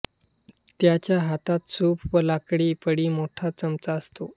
त्याच्या हातात सूप व लाकडी पडी मोठा चमचाअसतो